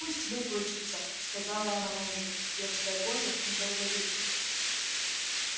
пусть выплачется сказала она мужу детское горе недолговечно